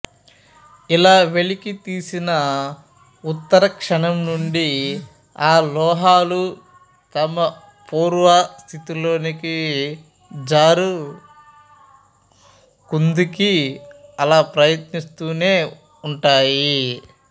ఇలా వెలికి తీసిన ఉత్తర క్షణం నుండీ ఆ లోహాలు తమ పూర్వ స్థితిలోకి జారుకుందుకి అలా ప్రయత్నిస్తూనే ఉంటాయి